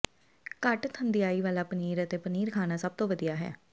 ਘੱਟ ਥੰਧਿਆਈ ਵਾਲਾ ਪਨੀਰ ਅਤੇ ਪਨੀਰ ਖਾਣਾ ਸਭ ਤੋਂ ਵਧੀਆ ਹੈ